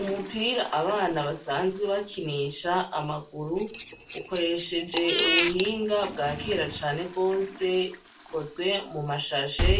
Umupira abana basanzwe bakinisha amaguru, ukoresheje ubuhinga bwa kera cane gose, ukozwe mu mashashe